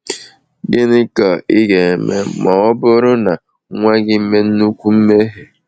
Gịnị ka ị ga-eme ma ọ bụrụ na nwa gị mee nnukwu mmehie?